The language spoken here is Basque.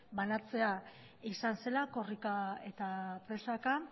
banatzea izan zela korrika eta presaka